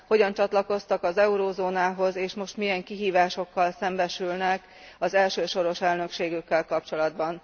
Hogyan csatlakoztak az eurózónához, és most milyen kihívásokkal szembesülnek az első soros elnökségükkel kapcsolatban.